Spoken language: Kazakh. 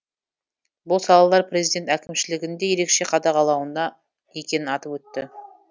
бұл салалар президент әкімшілігінің де ерекше қадағалауында екенін атап өтті